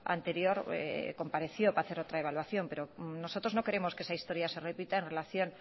anterior compareció para hacer otra evaluación pero nosotros no queremos que esa historia se repita en relación